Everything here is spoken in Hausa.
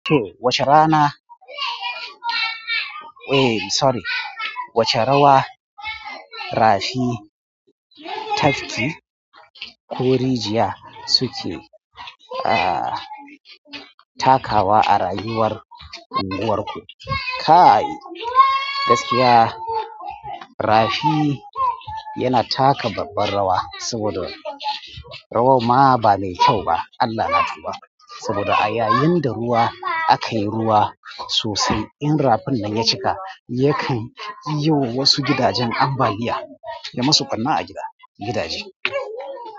Wace rana? Eh sorry, wace rawa rafi, tafki ko rijiya suke ah takawa a rayuwar unguwarku? Kai gaskiya rafi yana taka babbar rawa, saboda rawar ma ba mai kyau ba Allah natuba. Saboda a yayin da ruwa a kan ruwa sosai in rafin nan ya cika, yakan yi wasu gidajen ambaliya yai masu ɓanna a gida gidaje.